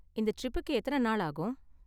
இந்த ட்ரிப்புக்கு எத்தன நாள் ஆகும்?